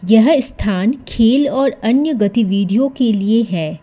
यह स्थान खेल और अन्य गतिविधियों के लिए है।